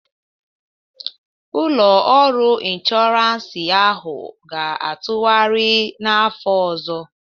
Ụlọ ọrụ inshọransị ahụ ga-atụgharị n'afọ ọzọ